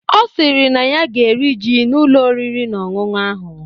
Ọ sịrị na ya ga-eri ji n'Ụlọ oriri na ọṅụṅụ ahụ.